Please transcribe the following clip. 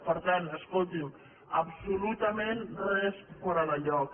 per tant escolti’m absolutament res fora de lloc